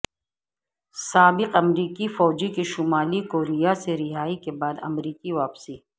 سابق امریکی فوجی کی شمالی کوریا سے رہائی کے بعد امریکہ واپسی